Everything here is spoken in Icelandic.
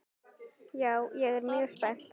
Já, ég er mjög spennt.